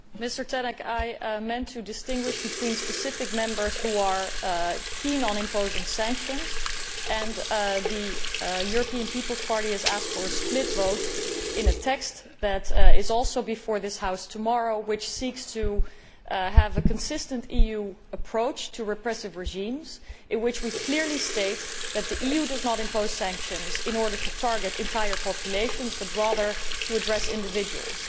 Mr President, in reply to Mr Tannock, I meant to point out that there are specific Members who are keen on imposing sanctions. The European People's Party has asked for a split vote in a text that is also before this House tomorrow, a text which seeks to have a consistent EU approach to repressive regimes and in which we clearly state that the EU does not impose sanctions in order to target entire populations, but rather to address individuals.